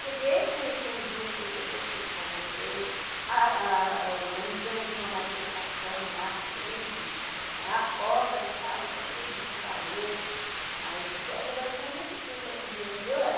Cheguei, conheci umas duas, três pessoas que eu convoquei, organizamos uma manifestação lá, grande, na porta da fábrica, todo mundo parou, mas eu trabalhei só um mês e dezessete dias.